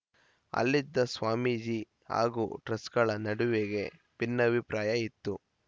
ಅಲ್ಲಿದ್ದ ಸ್ವಾಮೀಜಿ ಹಾಗೂ ಟ್ರಸ್ ಗಳ ನಡುವೆಗೆ ಭಿನ್ನಾಭಿಪ್ರಾಯ ಇತ್ತು